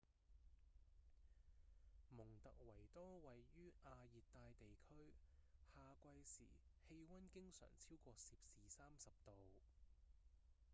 蒙特維多位於亞熱帶地區夏季時氣溫經常超過攝氏30度